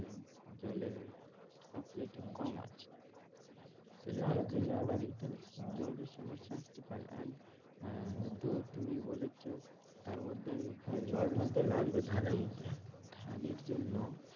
জলের কম আছে তো যদি তাহলে জলের সমস্যা আসতে পারে and আহ তো তুমি বলেছো তারমধ্যে আমি জলটল তো লাগবে ধানের মধ্যে ধানের জন্য